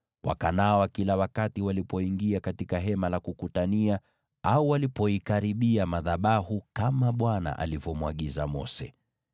Wakanawa kila walipoingia katika Hema la Kukutania au walipoikaribia madhabahu kama Bwana alivyomwagiza Mose.